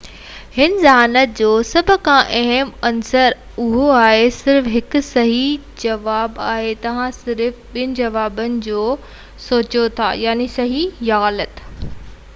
هن ذهانت جو سڀ کان اهم عنصر اهو آهي صرف هڪ صحيح جواب آهي توهان صرف ٻن جوابن جو سوچيو ٿا يعني صحيح يا غلط